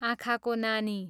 आँखाको नानी